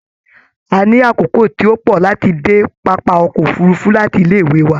A ní àkókò tí o pọ láti dé pápá ọkọ òfurùnfu láti ilé wà